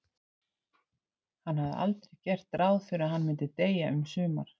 Hann hafði aldrei gert ráð fyrir að hann myndi deyja um sumar.